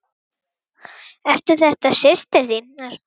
Eru þetta systur þínar?